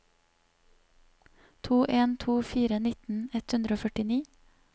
to en to fire nitten ett hundre og førtini